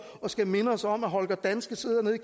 og skal minde os om at holger danske sidder nede